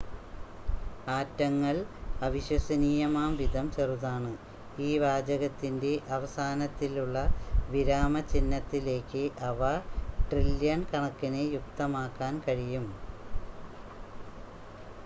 ആറ്റങ്ങൾ അവിശ്വസനീയമാംവിധം ചെറുതാണ് ഈ വാചകത്തിൻ്റെ അവസാനത്തിലുള്ള വിരാമചിഹ്നത്തിലേക്ക് അവ ട്രില്യൺ കണക്കിന് യുക്തമാക്കാൻ കഴിയും